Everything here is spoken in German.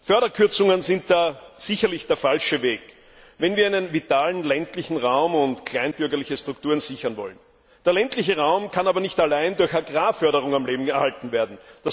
Förderkürzungen sind da sicherlich der falsche Weg, wenn wir einen vitalen ländlichen Raum und kleinbürgerliche Strukturen sichern wollen. Der ländliche Raum kann aber nicht allein durch Agrarförderungen am Leben erhalten werden.